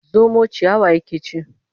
Zomo ciyawa yake ci.